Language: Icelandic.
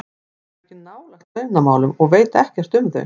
Ég kem ekkert nálægt launamálum og veit ekkert um þau.